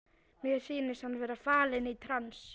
Mér sýnist hann vera fallinn í trans.